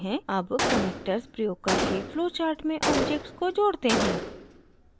अब connectors प्रयोग करके flowchart में objects को जोड़ते हैं